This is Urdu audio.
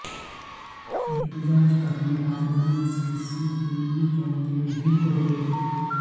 احتجاج کرنے والوں نے سی سی ٹی وی کیمرے بھی توڑے